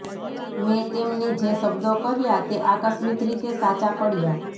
મેં તેમને જે શબ્દો કહ્યા તે આકસ્મિક રીતે સાચા પડ્યા